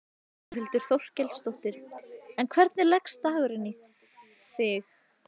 Þórhildur Þorkelsdóttir: En hvernig leggst dagurinn í þig?